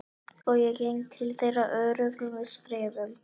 Og ég geng til þeirra öruggum skrefum.